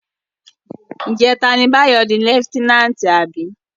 Ijètá ni Bayo di lèftènánti abi?